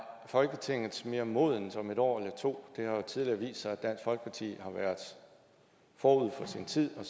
folketinget mere modent om et år eller to det har tidligere vist sig at dansk folkeparti har været forud for sin tid og